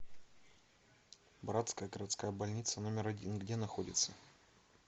братская городская больница номер один где находится